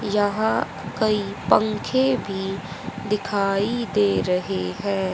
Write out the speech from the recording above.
यहां कई पंखे भी दिखाई दे रहे हैं।